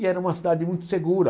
E era uma cidade muito segura.